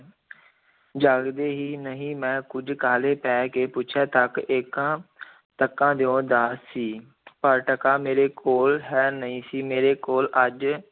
ਜਾਗਦੇ ਹੀ ਨਹੀਂ, ਮੈਂ ਕੁੱਝ ਕਾਹਲੇ ਪੈ ਕੇ ਪੁੱਛਿਆ, ਤੱਕ ਏਕਾ ਤੱਕਾ ਦਿਓ ਦਾ ਜੀ ਪਰ ਟਕਾ ਮੇਰੇ ਕੋਲ ਹੈ ਨਹੀਂ ਸੀ, ਮੇਰੇ ਕੋਲ ਅੱਜ